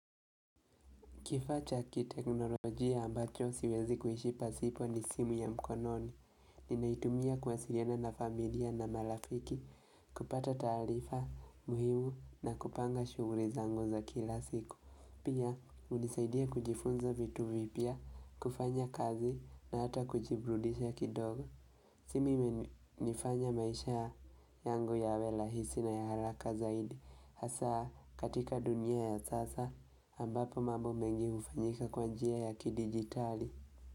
Kifaa cha kiteknolojia ambacho siwezi kuishi pasipo ni simu ya mkononi. Ninaitumia kuwasiliana na familia na marafiki, kupata taarifa muhimu na kupanga shughuli zangu za kila siku. Pia, hunisaidia kujifunza vitu vipya, kufanya kazi na hata kujiburudisha kidogo. Simu imenifanya maisha yangu yawe rahisi na ya haraka zaidi. Hasa katika dunia ya sasa ambapo mambo mengi hufanyika kwa njia ya kidigitali.